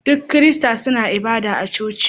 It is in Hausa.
Duka kirista suna ibada a coci